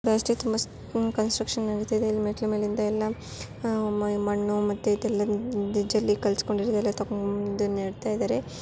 Construction ನಡೆತ್ತಾ ಇದೆ ಇಲ್ಲಿ ಮೆಟ್ಟಲು ಮೇಲಿನಿಂದ್ ಎಲ್ಲಾ ಆಹ್ ಮಣ್ಣು ಮತ್ತೆ ಎಲ್ಲಾ ಜೆಲ್ಲಿ ಕಲುಸ್ಕೊಂಡ್ ಇದಾರೆ ತಗೊಂಡ್ ಬಂದೂ ನೆಡ್ತಾಇದ್ದಾರೆ.